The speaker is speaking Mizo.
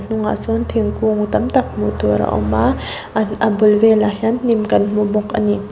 hnungah sawn thingkung tam tak hmuh tur a awm a an a bul velah hian hnim kan hmu bawk a ni.